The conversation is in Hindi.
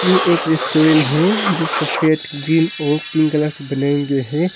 ये एक रेस्टोरेंट है जो सफेद ग्रीन और पिंक कलर से बने गए हैं।